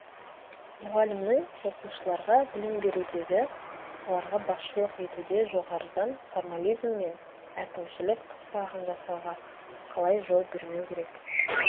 мұғалімнің оқушыларға білім берудегі оларға басшылық етуде жоғарыдан формализм мен әкімшілік қыспағын жасауға қалай жол бермеу керек